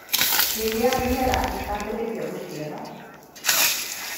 Rĩrĩa mĩmera ĩkambĩrĩria gũciara,